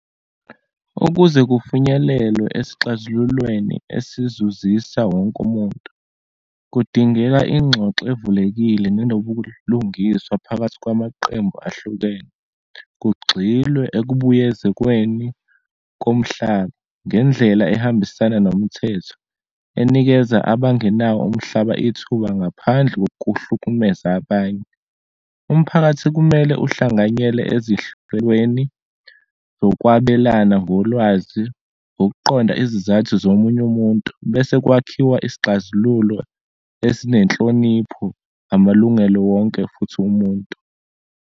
Ukuze kufinyelelwe esixazululweni esizuzisa wonke umuntu, kudingeka ingxoxo evulekile nenobulungiswa phakathi kwamaqembu ahlukene. Kugxilwe ekubuyezekweni komhlaba ngendlela ehambisana nomthetho, enikeza abangenawo umhlaba ithuba ngaphandle ngokuhlukumeza abanye. Umphakathi kumele uhlanganyele zokwabelana ngolwazi, ngokuqonda izizathu zomunye umuntu, bese kwakhiwa isixazululo esinenhlonipho, amalungelo wonke futhi womuntu.